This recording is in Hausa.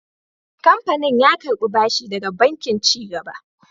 Kamfanin ya karɓi bashi daga Bankin Ci Gaba.